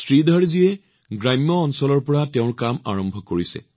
শ্ৰীধৰজীয়ে গ্ৰামাঞ্চলৰ পৰা তেওঁৰ কাম আৰম্ভ কৰিছে